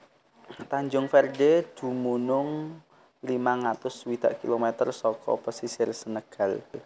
Tanjung Verde dumunung limang atus swidak kilometer saka pesisir Senegal